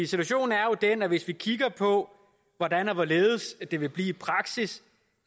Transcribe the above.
situationen er jo den at hvis vi kigger på hvordan og hvorledes det vil blive i praksis